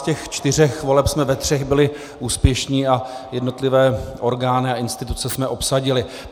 Z těch čtyř voleb jsme ve třech byli úspěšní a jednotlivé orgány a instituce jsme obsadili.